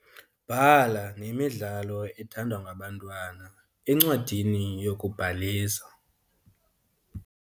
Bhala nemidlalo ethandwa ngabantwana encwadini yokubhalisa.